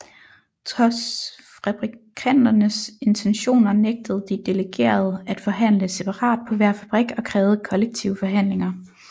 Trods fabrikanternes intentioner nægtede de delegerede at forhandle separat på hver fabrik og krævede kollektive forhandlinger